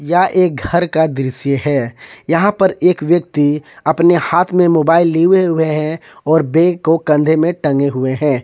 यह एक घर का दृश्य है यहां पर एक व्यक्ति अपने हाथ में मोबाइल लिवे हुए हैं और बैग को कंधे में टंगे हुए हैं।